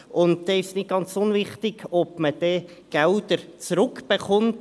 Es ist nicht ganz unwichtig, ob man dort Geld zurückerhält.